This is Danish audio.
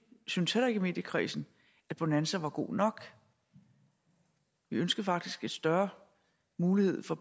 syntes heller ikke i mediekredsen at bonanza var god nok vi ønskede faktisk en større mulighed for